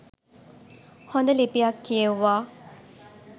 හොඳ ලිපියක් කියෙව්වා.